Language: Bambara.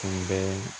Tun bɛ